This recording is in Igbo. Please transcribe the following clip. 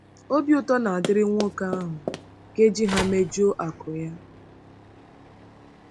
Obi ụtọ na-adịrị nwoke ahụ nke ji ha mejuo akụ́ ya. ”